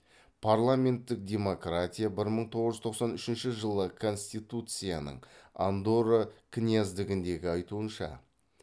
парламенттік демократия бір мың тоғыз жүз тоқсан үшінші жылы конституцияның андорра князьдігіндегі айтуынша